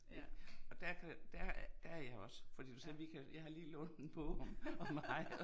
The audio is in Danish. Ik, og der kan du og der der jeg også fordi du sagde vi kan jeg har lige lånt en bog om hajer